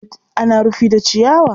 ana rufi da ciyawa.